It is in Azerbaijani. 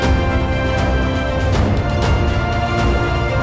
Bu gün gördüyümüz hadisələrin səbəbi budur.